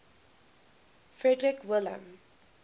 frederick william